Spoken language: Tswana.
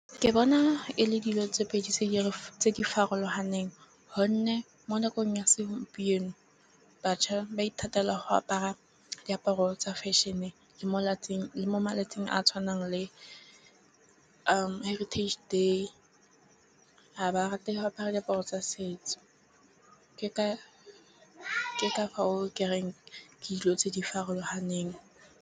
Ke bona e le dilo tse pedi tse di farologaneng gonne mo nakong ya segompieno. Batjha ba ithatela go apara diaparo tsa fashion-e le mo letsatsing le mo malatsing a tshwanang le heritage day. Ga ba rate go apara diaparo tsa setso ke ka ke reng ke dilo tse di farologaneng.